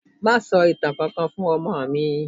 Má sọ ìtàn kankan fún ọmọ mi.